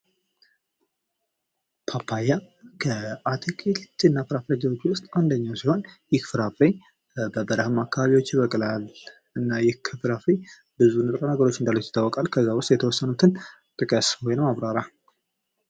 ፓፓያ ከአትክልት እና ፍራፍሬዎች ውስጥ አንደኛው ሲሆን ይህ ፍራፍሬ በበረሃማ አካባቢዎች ይበቅላል እና ይህ ፍራፍሬ ብዙ ጥቅሞች እንዳሉት ይታወቃል እና ከዚያም ውስጥ የተወሰኑትን ጥቀስ ወይም አብራራ